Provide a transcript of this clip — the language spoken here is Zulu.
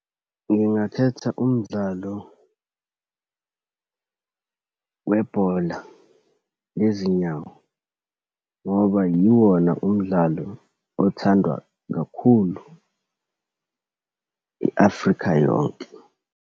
Ngingakhetha umdlalo webhola lezinyawo ngoba yiwona umdlalo othandwa kakhulu, i-Afrika yonke.